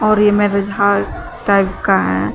और ये में रझा टाइप का है।